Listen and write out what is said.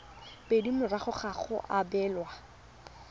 pedi morago ga go abelwa